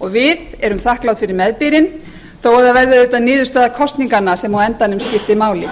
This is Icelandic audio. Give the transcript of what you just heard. og við erum þakklát fyrir meðbyrinn þó það verði auðvitað niðurstaða kosninganna sem á endanum skiptir máli